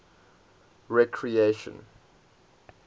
recreation